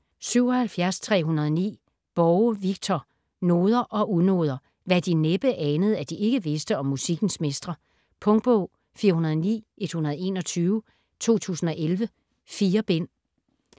77.309 Borge, Victor: Noder og unoder: hvad De næppe anede, at De ikke vidste om musikkens mestre Punktbog 409121 2011. 4 bind.